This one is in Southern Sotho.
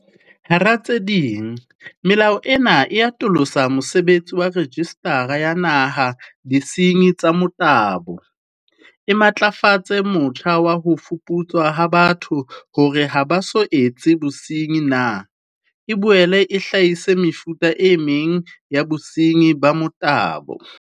Hara tse ding, melao ena e atolosa mosebetsi wa Rejistara ya Naha ya Disenyi tsa Motabo, e matlafatse motjha wa ho fuputswa ha batho hore ha ba so etse bosenyi na, e boele e hlahise mefuta e meng ya bosenyi ba motabo.